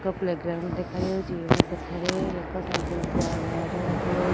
ଏକ playground ଦେଖାଯାଉଛି ଏବମ ସେଠାରେ ଏକ ସାଇକଲ ଥୁଆ ହେବାର ଦେଖାଯାଉଛି --